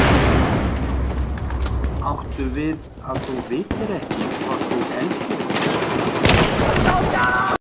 Áttu við að þú vitir ekki hvort þú elskir mig?